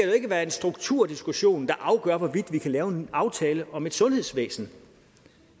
jo ikke være en strukturdiskussion der afgør hvorvidt vi kan lave en ny aftale om et sundhedsvæsen